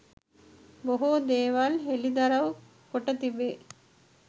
බොහෝ දේවල් හෙළිදරව් කොට තිබේ